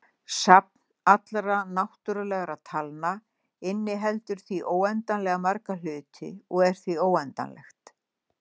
Safn allra náttúrulegra talna inniheldur því óendanlega marga hluti og er því óendanlegt.